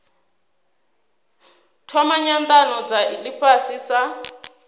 thoma nyanano dza ifhasi sa